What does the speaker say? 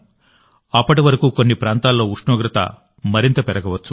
అప్పటి వరకు కొన్ని ప్రాంతాల్లో ఉష్ణోగ్రత మరింత పెరగవచ్చు